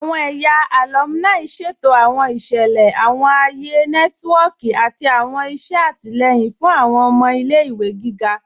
Awọn ẹ̀yà alùmíní ṣẹ̀tò awọn iṣẹlẹ, awọn ayé nẹtìwọ̀kì, àti awọn iṣẹ̀ àtílẹ̀yìn fún awọn ọmọ ilẹ̀-ìwé gígá.